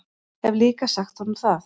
Hef líka sagt honum það.